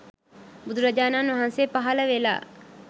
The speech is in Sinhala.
බුදුරජාණන් වහන්සේ පහළ වෙලා